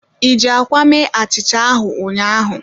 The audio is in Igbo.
I ji akwa mee achicha ahu ụnyaahụ?